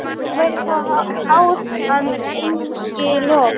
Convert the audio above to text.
Það væri þá háð, en eigi lof.